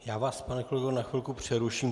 Já vás, pane kolego, na chvilku přeruším.